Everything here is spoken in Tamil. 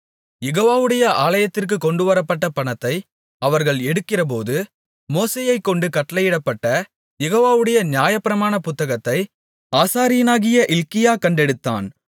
யெகோவாவுடைய ஆலயத்திற்குக் கொண்டுவரப்பட்ட பணத்தை அவர்கள் எடுக்கிறபோது மோசேயைக்கொண்டு கட்டளையிடப்பட்ட யெகோவாவுடைய நியாயப்பிரமாணப் புத்தகத்தை ஆசாரியனாகிய இல்க்கியா கண்டெடுத்தான்